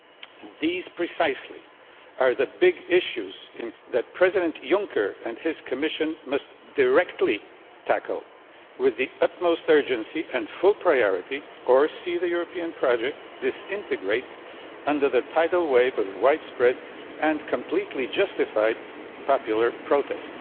These precisely are the Big Issues that President Junker and his Commission must directly tackle with the utmost urgency and full priority, or see the European project disintegrate under the tidal wave of widespread and completely justified popular protest.